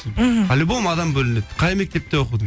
мхм по любому адам бөлінеді қай мектепте оқыдың